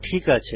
ঠিক আছে